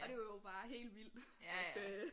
Og det var jo bare helt vildt at øh